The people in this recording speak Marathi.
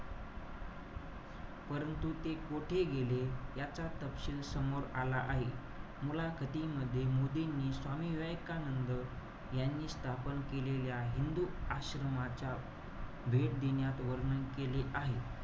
परंतु ते कोठे गेले, याचा तपशील समोर आला आहे. मला मध्ये मोदींनी स्वामी विवेकानंद यांनी स्थापन केलेल्या, हिंदू आश्रमाच्या भेट देण्यात वर्णन केले आहे.